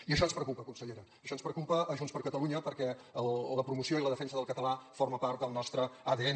i això ens preocupa consellera això ens preocupa a junts per catalunya perquè la promoció i la defensa del català forma part del nostre adn